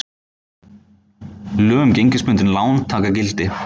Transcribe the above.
Lög um gengisbundin lán taka gildi